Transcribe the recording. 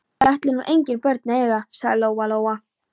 Ég ætla nú engin börn að eiga, sagði Lóa-Lóa.